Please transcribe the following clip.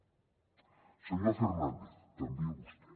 senyor fernández també a vostè